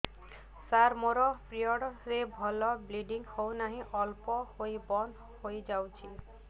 ସାର ମୋର ପିରିଅଡ଼ ରେ ଭଲରେ ବ୍ଲିଡ଼ିଙ୍ଗ ହଉନାହିଁ ଅଳ୍ପ ହୋଇ ବନ୍ଦ ହୋଇଯାଉଛି